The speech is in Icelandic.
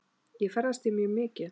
Ég ferðast því mjög mikið.